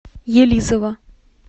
елизово